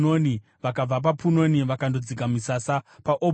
Vakabva paPunoni vakandodzika misasa paObhoti.